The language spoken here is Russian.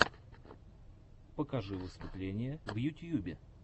покажи выступления в ютьюбе